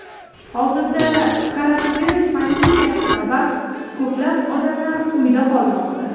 Hozirda koronavirus pandemiyasi sabab ko‘plab odamlar uyda qolmoqda.